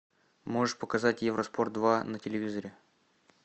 можешь показать евроспорт два на телевизоре